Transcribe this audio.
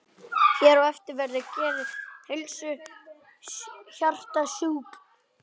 Hér á eftir verður getið helstu hjartasjúkdóma.